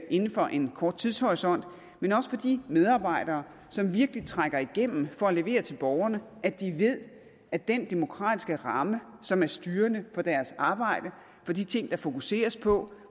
inden for en kort tidshorisont men også for de medarbejdere som virkelig trækker igennem for at levere til borgerne at de ved at den demokratiske ramme som er styrende for deres arbejde for de ting der fokuseres på